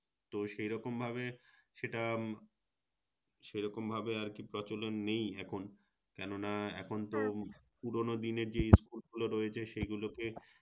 তো সেরকমভাবে সেটা সেরকম ভাবে আরকি প্রচলন নেই এখন কেনোনা এখন তো পুরোনো দিনের যেই School গুলো রয়েছে সেগুলোকে